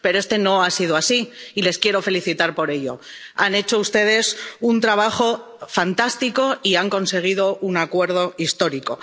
Pero este no ha sido así y les quiero felicitar por ello. Han hecho ustedes un trabajo fantástico y han conseguido un acuerdo histórico.